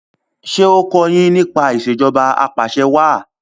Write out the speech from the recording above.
ṣe o kò yín nípa Ìṣèjọba Apàṣẹwàá